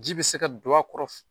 Ji bɛ se ka don a kɔrɔ